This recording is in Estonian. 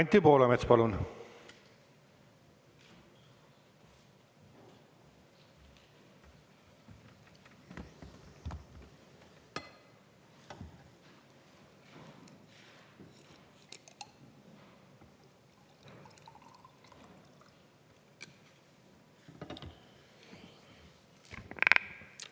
Anti Poolamets, palun!